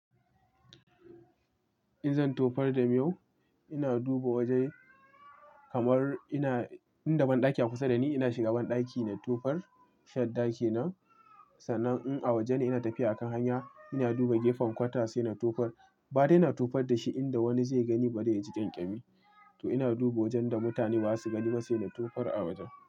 In zan tofar da miyau, ina duba waje kamar ina, inda banɗaki akusa da ni ina shiga banɗaki na tofar shadda ke nan Sannan in a waje ne ina tafiya a kan hanya, ina duba gefen kwata sai na tofar. Ba dai ina tofar da shi inda wani zai gani ba dai ya ji ƙyanƙyami. To ina duba wajen da mutane ba za su gani masa ina tofar a wajen.